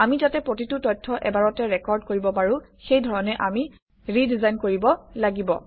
আমি যাতে প্ৰতিটো তথ্য এবাৰতে ৰেকৰ্ড কৰিব পাৰোঁ সেই ধৰণে আমি ৰিডিজাইন কৰিব লাগিব